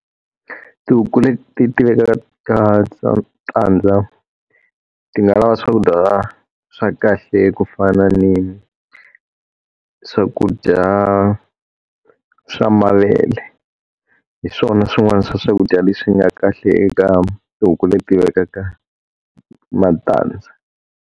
Tihuku leti ti ti vekaka tandza, ti nga lava swakudya swa kahle ku fana ni swakudya swa mavele. Hi swona swin'wana swa swakudya leswi nga kahle eka tihuku leti vekaka matandza.